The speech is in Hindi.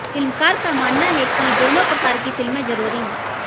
फिल्मकार का मानना है कि दोनों प्रकार की फिल्में जरूरी हैं